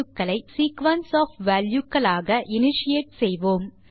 நாம் அவற்றை sequence of value களாக இனிஷியேட் செய்வோம்